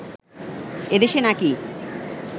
এদেশে নাকি